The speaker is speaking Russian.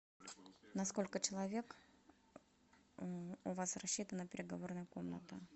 на сколько человек у вас рассчитана переговорная комната